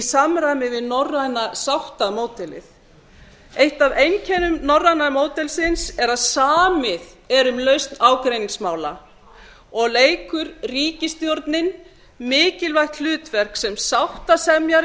samræmi við norræna sáttamódelið eitt af einkennum norræna módelsins er að samið er um lausn ágreiningsmála og leikur ríkisstjórnin mikilvægt hlutverk sem sáttasemjari